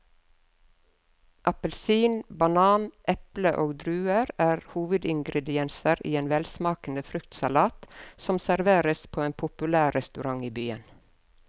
Appelsin, banan, eple og druer er hovedingredienser i en velsmakende fruktsalat som serveres på en populær restaurant i byen.